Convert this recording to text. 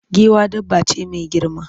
Giwa dabba ce mai girma.